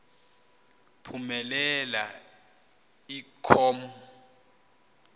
phumelela i com